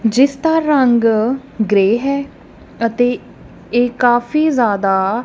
ਜਿਸ ਦਾ ਰੰਗ ਗ੍ਰੇ ਹੈ ਅਤੇ ਇਹ ਕਾਫੀ ਜਿਆਦਾ--